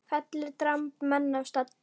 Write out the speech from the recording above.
Fellir dramb menn af stalli.